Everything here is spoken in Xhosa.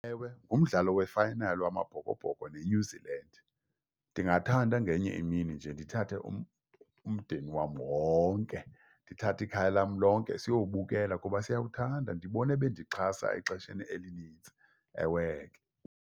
Ewe, ngumdlalo wefayinali wamabhokobhoko ne-New Zeeland, ndingathanda ngenye imini nje ndithathe umndeni wam wonke, ndithathe ikhaya lam lonke siyowubukela kuba siyawuthanda. Ndibone bendixhasa exesheni elinintsi. Ewe ke.